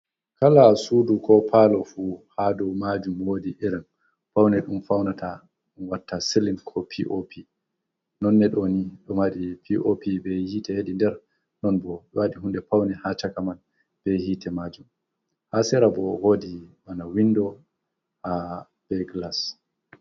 Kala sudu ko palo fu ha dow majum wodi iram paune ɗum faunata ɗum watta silin ko pop. Non nedoni ɗo mari pop be hite hedi nder non bo wadi hunde paune ha chaka man be hite majun. ha sera bo wodi bana windo ha beglas.